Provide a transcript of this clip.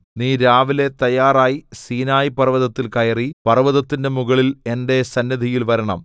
നീ രാവിലെ തയ്യാറായി സീനായി പർവ്വതത്തിൽ കയറി പർവ്വതത്തിന്റെ മുകളിൽ എന്റെ സന്നിധിയിൽ വരണം